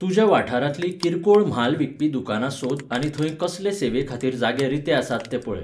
तुज्या वाठारांतलीं किरकोळ म्हाल विकपी दुकानां सोद आनी थंय कसले सेवेखातीर जागे रिते आसात तें पळय.